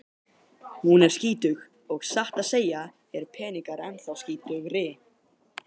Hún er skítug og satt að segja eru peningar ennþá skítugri.